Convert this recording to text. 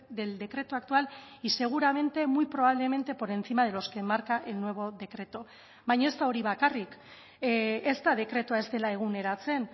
del decreto actual y seguramente muy probablemente por encima de los que marca el nuevo decreto baina ez da hori bakarrik ez da dekretua ez dela eguneratzen